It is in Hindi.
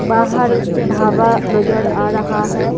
बाहर ढाबा नजर आ रहा है।